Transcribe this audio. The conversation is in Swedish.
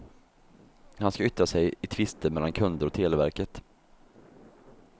Han ska yttra sig i tvister mellan kunder och televerket.